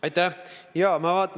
Aitäh!